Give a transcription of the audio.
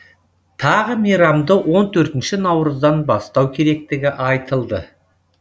тағы мейрамды он төртінші наурыздан бастау керектігі айтылды